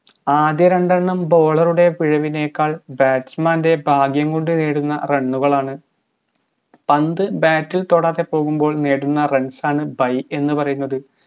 ആദ്യ രണ്ടെണ്ണം bowler ഉടെ പിഴവിനേക്കാൾ batsman ൻറെ ഭാഗ്യം കൊണ്ട് നേടുന്ന run ഉകളാണ് പന്ത് bat തൊടാതെ പോകുമ്പോൾ നേടുന്ന runs ആണ് by എന്ന് പറയുന്നത്